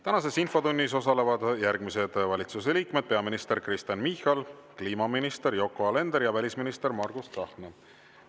Tänases infotunnis osalevad järgmised valitsuse liikmed: peaminister Kristen Michal, kliimaminister Yoko Alender ja välisminister Margus Tsahkna.